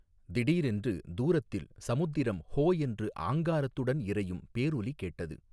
திடீரென்று தூரத்தில் சமுத்திரம் ஹோ என்று ஆங்காரத்துடன் இரையும் பேரொலி கேட்டது.